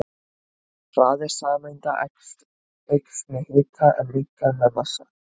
Hraði sameinda eykst með hita en minnkar með massa.